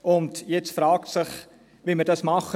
Nun fragt es sich, wie wir dies machen.